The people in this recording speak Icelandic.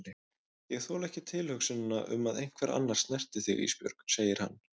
Ég þoli ekki tilhugsunina um að einhver annar snerti þig Ísbjörg, segir hann.